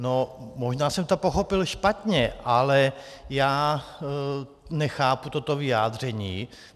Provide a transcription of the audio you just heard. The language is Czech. No, možná jsem to pochopil špatně, ale já nechápu toto vyjádření.